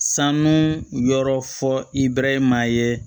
Sanu yɔrɔ fɔ i bɛɛrɛ maa ye